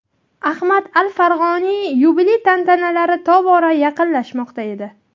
Ahmad al-Farg‘oniy yubiley tantanalari tobora yaqinlashmoqda edi.